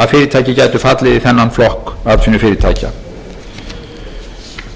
að fyrirtæki gætu fallið í þennan flokk atvinnufyrirtækja þegar þessar tillögur liggja fyrir skal fjármálaráðherra